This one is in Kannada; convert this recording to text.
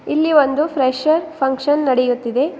ಇಲ್ಲಿ ಒಂದು ಫ್ರೆಶರ್ ಪಂಕ್ಷನ್ ನಡೆಯುತ್ತಿದೆ.